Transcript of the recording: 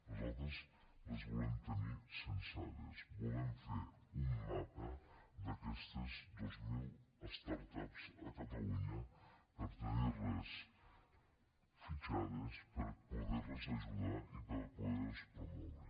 nosaltres les volem tenir censades volem fer un mapa d’aquestes dues mil start ups a catalunya per tenir les fitxades per poder les ajudar i per poder les promoure